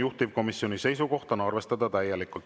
Juhtivkomisjoni seisukoht on arvestada täielikult.